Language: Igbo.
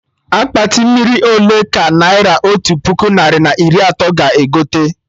Akpati mmiri ole ka naira otu puku narị na iri atọ ga egote?